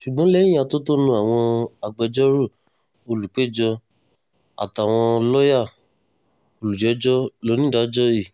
ṣùgbọ́n lẹ́yìn atótónu àwọn agbẹjọ́rò olùp̀éjọ àtàwọn lọ́ọ̀yà olùjẹ́jọ́ lonídàájọ́ i